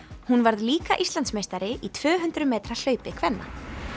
hún varð líka Íslandsmeistari í tvö hundruð metra hlaupi kvenna